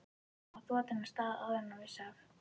Hann var þotinn af stað áður en hann vissi af.